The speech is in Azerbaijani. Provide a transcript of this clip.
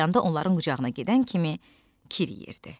Ağlayanda onların qucağına gedən kimi kiriyirdi.